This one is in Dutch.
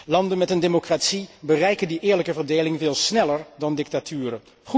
Landen met een democratie bereiken die eerlijke verdeling veel sneller dan dictaturen.